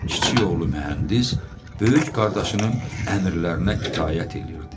Kiçik oğlu mühəndis böyük qardaşının əmrlərinə itaət eləyirdi.